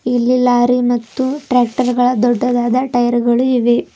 ಇಲ್ಲಿ ಲಾರಿ ಮತ್ತು ಟ್ರ್ಯಾಕ್ಟರ್ ಗಳ ದೊಡ್ಡದಾದ ಟೈರ್ ಗಳು ಇವೆ.